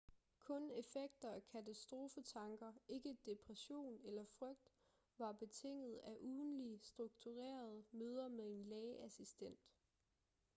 kun effekter af katastrofetanker ikke depression eller frygt var betinget af ugentlige strukturerede møder med en lægeassistent